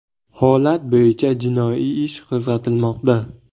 Holat bo‘yicha jinoiy ish qo‘zg‘atilmoqda.